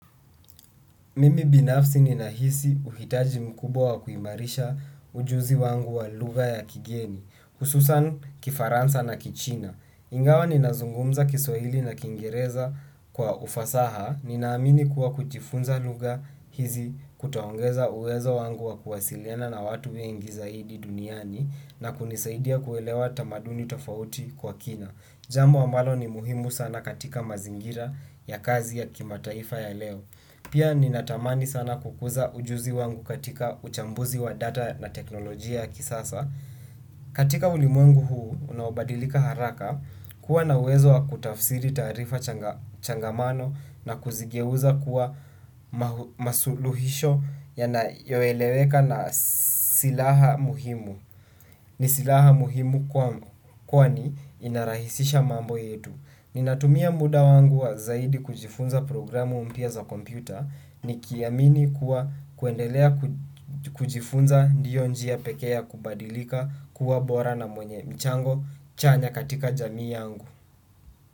Mimi binafsi ninahisi uhitaji mkubwa wa kuimarisha ujuzi wangu wa lugha ya kigeni, hususan kifaransa na kichina. Ingawa ninazungumza kiswahili na kiingereza kwa ufasaha, ni naamini kuwa kujifunza lugha hizi kutaongeza uwezo wangu wa kuwasiliana na watu wengi zaidi duniani na kunisaidia kuelewa tamaduni tofauti kwa kina. Jambo ambalo ni muhimu sana katika mazingira ya kazi ya kimataifa ya leo. Pia ninatamani sana kukuza ujuzi wangu katika uchambuzi wa data na teknolojia kisasa. Katika ulimwengu huu unaobadilika haraka, kuwa na uwezo wa kutafsiri taarifa changamano na kuzigeuza kuwa masuluhisho yanayoeleweka na silaha muhimu. Ni silaha muhimu kwani inarahisisha mambo yetu. Ninatumia muda wangu zaidi kwa kujifunza programu mpya za kompuyta nikiamini kuwa kuendelea kujifunza ndiyo njia pekea kubadilika kuwa bora na mwenye mchango chanya katika jamii yangu.